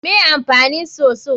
Me amfanin soso?